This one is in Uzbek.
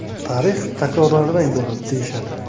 Tarix takrorlardan iborat, deyishadi.